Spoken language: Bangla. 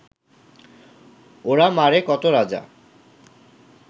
ওরা মারে কত রাজা